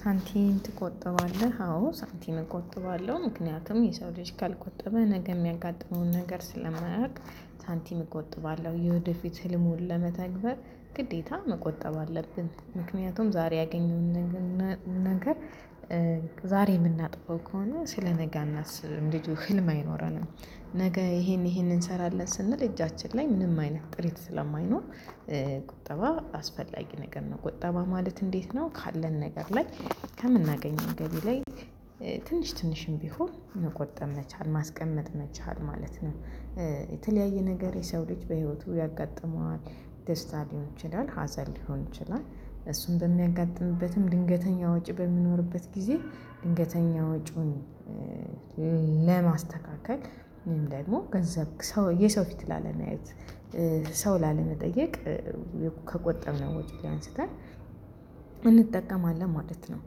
ሳንቲም ትቆጠባለህ? አዎ ሳንቲም እቆጥባለሁ ምክንያቱም የሰው ልጅ ካልቆጠበ ነገ የሚያጋጥመውን ነገር ስለማያውቅ ሳንቲም እቆጥባለሁ። የውድፊት ህልሙን ለመተግበር ግዴታ መቆጠብ አለብን ምክንያቱም ዛሬ ያገኘውን ነገር ዛሬ የምናጥፋው ከሆነ ስለነገ ነገ እናስብም ልጁ ህልም አይኖርም ነገ ይሄን ይሄንን እንሰራለን ስንል እጃችን ላይ ምንም አይነት ጥሪት ስለማይኖር ቁጠባ አስፈላጊ ነገር ነውደ ቁጠባ ማለት እንዴት ነው ካለን ነገር ላይ ከምናገኘው ገቢ ላይ ትንሽ ትንሽም ቢሆን መቆጠብ መቻል ማስቀመጥ መቻል ማለት ነው። የተለያየ ነገር የሰው ልጅ በህይወቱ ያጋጥመዋል ደስታ ሊሆን ይችላል፤ ሀዘን ሊሆን ይችላል እሱን በሚያጋጥምበትም ድንገተኛ ወጪ በሚኖርበት ጊዜ ድንገተኛ ወጪውን ለማስተካከል ወይም ደግሞ ገንዘብ ሰው የሰው ፊት ላለመያየት ሰው ላለመጠየቅ ከቆጠብን ወጪ ላይ አንስተን እንጠቀማለን ማለት ነው።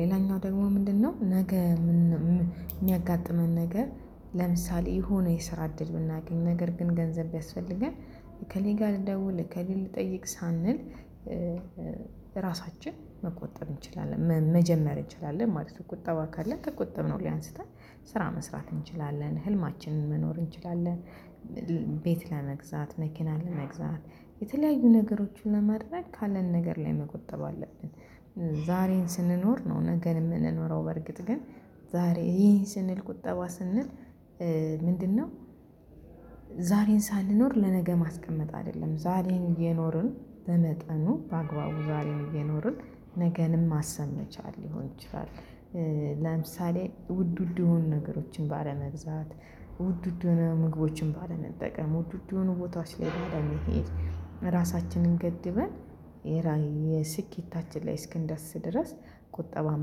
ሌላኛው ደግሞ ምንድነው፤ ነገ የሚያጋጥመን ነገር ለምሳሌ የሆነ የሰራ እድል ብናገኝ ነገር ግን ገንዘብ ቢያስፈልገን እከሌ ጋር ልደውል እከሌን ልጠይቅ ሳንል ራሳችን መቆጠብ እንችላለን መጀመር እንችላለን ማለት ነው፤ ቁጠባ ካለን ከቆጠብነው ላይ አንስተን ስራ መስራት እንችላለን ህልማችንን መኖር እንችላለን። ቤት ለመግዛት፤ መኪና ለመግዛት፤ የተለያዩ ነገሮችን ለማድረክፀግ ካለን ነገር ላይ መቆጠብ አለብን ዛሬን ስንኖር ነው ነገር የምንኖረው በርግጥ ግን ዛሬ ይሄን ስንል ቁጠባ ስንል ምንድነው ዛሬን ሳንኖር ለነገ ማስቀመጥ አይደለም። ዛሬን እየኖርን በመጠኑ በአግባቡ ዛሬ የሚኖርን ነገንም ማሰም ይቻላል ሊሆን ይችላል። ለምሳሌ ውድ ውድ የሆኑ ነገሮችን ባለግዛት፤ ውድ ውድ ሆነው ምግቦችን ባለመጠቀም፤ ውድ ውድ ሆነው ቦታዎች ላይ ራሳችንን ገድበን፤ የስኬታችን ላይ እስክንደስ ድረስ ቁጠባን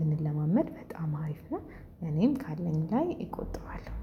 ብንለማመድ በጣም አሪፍ ነው። እኔም ካለኝ ላይ እቆጠዋለሁ።